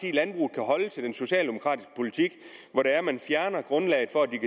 så den socialdemokratiske politik hvor man fjerner grundlaget for at de